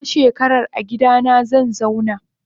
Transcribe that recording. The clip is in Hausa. Wata shekarar agidana zanzauna.